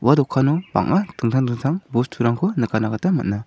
ua dokano bang·a dingtang dingtang bosturangko nikatna gita man·a.